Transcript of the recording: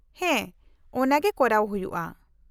-ᱦᱮᱸ, ᱚᱱᱟᱜᱮ ᱠᱚᱨᱟᱣ ᱦᱩᱭᱩᱜᱼᱟ ᱾